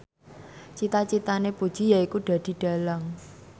cita citane Puji yaiku dadi dhalang